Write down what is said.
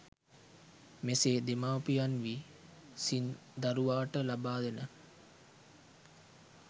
මෙසේ දෙමාපියන්වි සින් දරුවාට ලබාදෙන